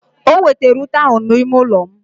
O wetara ute ahụ n'ime ụlọ m.